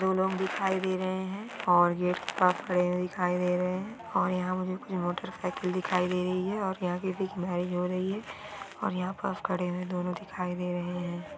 दो लोग दिखाई दे रहे है और ये खड़े दिखाई दे रहे है और यहाँ मुझे कुछ मोटरसाइकिल दिखाई दे रही हेऔर यहाँ किसी की मेरीज हो रही है और यहाँ दोनों खड़े हुए दिखाई दे रहे है।